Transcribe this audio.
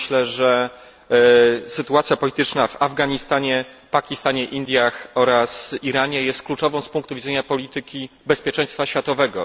Myślę, że sytuacja polityczna w Afganistanie, Pakistanie, Indiach oraz Iranie jest kluczową z punktu widzenia polityki bezpieczeństwa światowego.